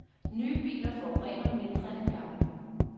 Nye biler forurener mindre end gamle.